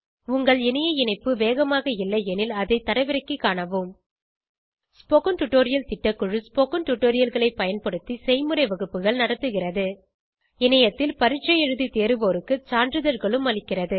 உங்கள் இணைய இணைப்பு வேகமாக இல்லையெனில் அதை தரவிறக்கிக் காணவும் ஸ்போகன் டுடோரியல் திட்டக்குழு ஸ்போகன் டுடோரியல்களைப் பயன்படுத்தி செய்முறை வகுப்புகள் நடத்துகிறது இணையத்தில் பரீட்சை எழுதி தேர்வோருக்கு சான்றிதழ்களும் அளிக்கிறது